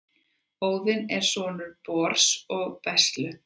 Óðinn er sonur Bors og Bestlu.